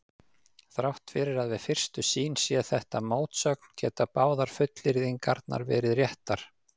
Þrátt fyrir að við fyrstu sýn sé þetta mótsögn geta báðar fullyrðingarnar verið réttar.